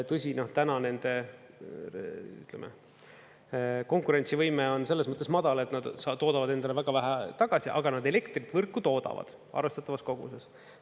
Tõsi, täna nende, ütleme, konkurentsivõime on selles mõttes madal, et nad toodavad endale väga vähe tagasi, aga nad elektrit võrku toodavad arvestatavas koguses.